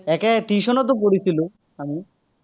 একে tuition তো কৰিছিলো, আমি।